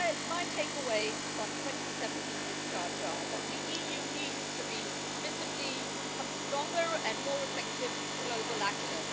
My takeaways on 2017 discharge are that the EU needs to visibly become a stronger and more effective global actor.